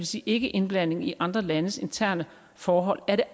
sige ikkeindblanding i andre landes interne forhold er det